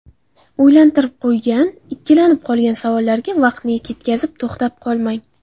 O‘ylantirib qo‘ygan, ikkilanib qolgan savollarga vaqtni ketkazib, to‘xtab qolmang.